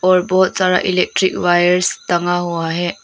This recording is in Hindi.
और बहुत सारा इलेक्ट्रिक वायर्स टंगा हुआ है।